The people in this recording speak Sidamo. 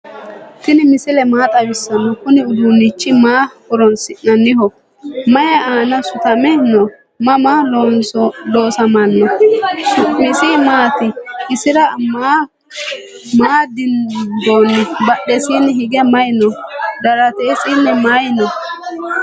tini misile maa xawisano? kuuni uddunichu maa horonsi'nayiho? mayi aana suutame no?maama loosamino? su'misi maati? isira maa dinboni? badhesinni hige mayi no?daaratesini mayi no?